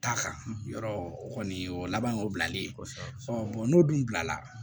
Taa kan yɔrɔ o kɔni o laban y'o bilalen kɔfɛ n'o dun bilala